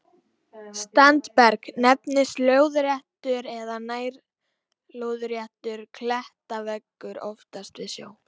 Standberg nefnist lóðréttur eða nær-lóðréttur klettaveggur, oftast við sjó.